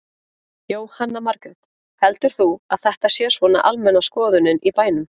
Jóhanna Margrét: Heldur þú að þetta sé svona almenna skoðunin í bænum?